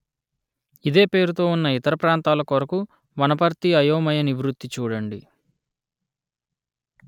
ఇదే పేరుతో ఉన్న ఇతర ప్రాంతాల కొరకు వనపర్తి అయోమయ నివృత్తి చూడండి